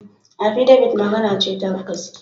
Affidabit magana ce ta gaskiya.